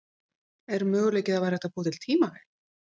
Er möguleiki að það væri hægt að búa til tímavél?